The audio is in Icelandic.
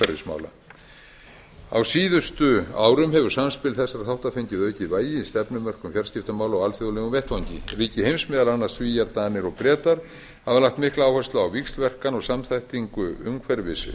umhverfismála á síðustu árum hefur samspil þessara þátta fengið aukið vægi í stefnumörkun fjarskiptamála á alþjóðlegum vettvangi ríki heims meðal annars svíar danir og bretar hafa lagt mikla áherslu á víxlverkanir og samþættingu